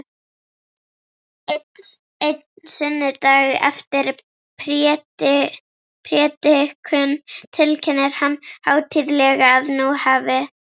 Einn sunnudag eftir prédikun tilkynnir hann hátíðlega að nú hafi